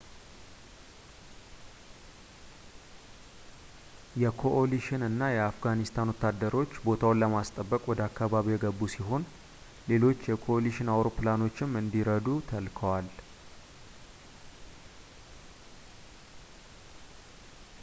የኮኦሊሽን እና የአፍጋኒስታን ወታደሮች ቦታውን ለማስጠበቅ ወደ አካባቢው የገቡ ሲሆን ሌሎች የኮኦሊሽን አውሮፕላኖችም እንዲረዱ ተልከዋል